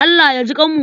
Allah ya jiƙanmu.